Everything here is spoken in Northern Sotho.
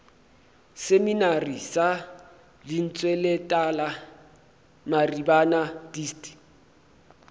seminari sa lentsweletala maribana dist